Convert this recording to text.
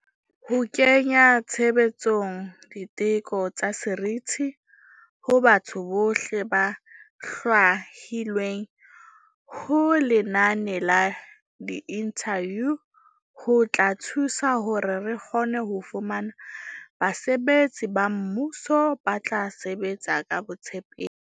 Ho kenya tshebetsong di teko tsa seriti ho batho bohle ba hlwahilweng ho lenane la diinthaviu ho tla thusa hore re kgone ho fumana basebetsi ba mmuso ba tla sebetsa ka botshepehi.